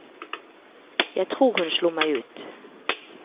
Jeg tror hun slo meg ut.